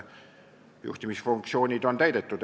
Juhtimisfunktsioonid on täidetud.